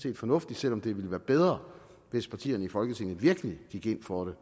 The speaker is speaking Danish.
er fornuftigt selv om det ville være bedre hvis partierne i folketinget virkelig gik ind for